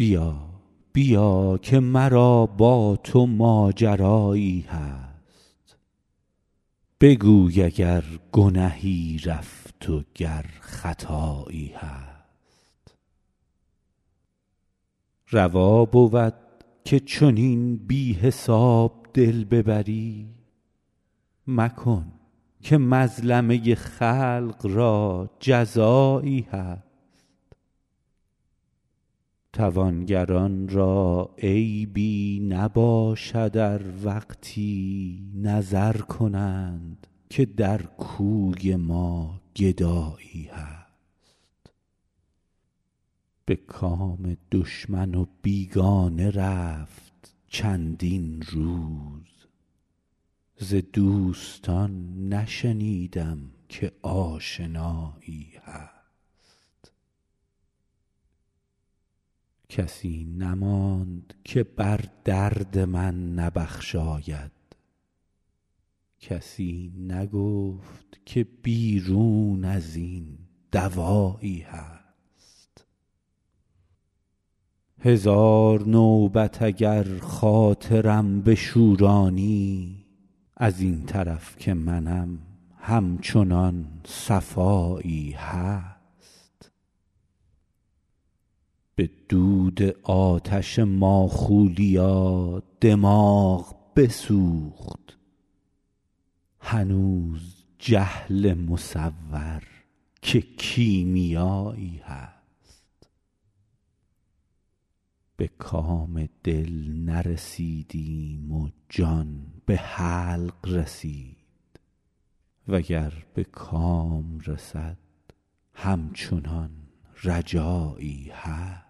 بیا بیا که مرا با تو ماجرایی هست بگوی اگر گنهی رفت و گر خطایی هست روا بود که چنین بی حساب دل ببری مکن که مظلمه خلق را جزایی هست توانگران را عیبی نباشد ار وقتی نظر کنند که در کوی ما گدایی هست به کام دشمن و بیگانه رفت چندین روز ز دوستان نشنیدم که آشنایی هست کسی نماند که بر درد من نبخشاید کسی نگفت که بیرون از این دوایی هست هزار نوبت اگر خاطرم بشورانی از این طرف که منم همچنان صفایی هست به دود آتش ماخولیا دماغ بسوخت هنوز جهل مصور که کیمیایی هست به کام دل نرسیدیم و جان به حلق رسید و گر به کام رسد همچنان رجایی هست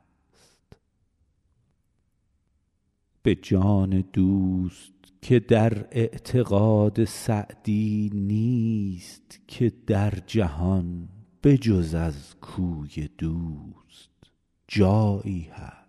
به جان دوست که در اعتقاد سعدی نیست که در جهان به جز از کوی دوست جایی هست